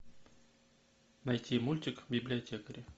найти мультик библиотекари